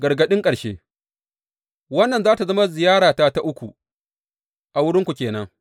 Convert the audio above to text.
Gargaɗin ƙarshe Wannan za tă zama ziyarata ta uku a wurinku ke nan.